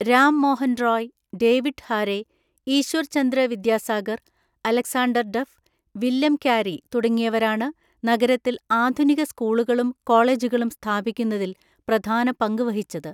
Ram Mohan Roy, David ഹാരെ, ഈശ്വർചന്ദ്രവിദ്യാസാഗർ, Alexander duff, William carry തുടങ്ങിയവരാണ് നഗരത്തിൽ ആധുനിക സ്കൂളുകളും കോളജുകളും സ്ഥാപിക്കുന്നതിൽ പ്രധാന പങ്ക് വഹിച്ചത്.